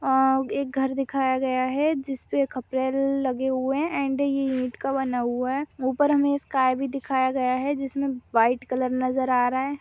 अ एक घर दिखाया गया है जिसपे लगे हुए है अँड ये ईट का बना हुआ है ऊपर हमे स्काय जिसमे व्हाइट कलर नज़र आ रहा है।